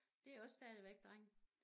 Det også stadigvæk drenge